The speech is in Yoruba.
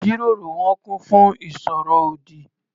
Ìjíròrò wọn kún fún ìsọ̀rọ̀ ọ̀dì.